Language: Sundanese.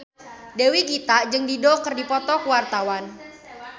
Dewi Gita jeung Dido keur dipoto ku wartawan